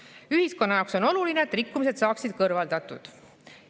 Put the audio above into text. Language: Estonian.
] Ühiskonna jaoks on oluline, et rikkumised saaksid kõrvaldatud.